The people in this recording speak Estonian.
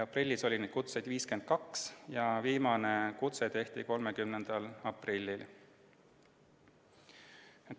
Aprillis oli neid kutseid 52 ja viimane kutse tuli 30. aprillil.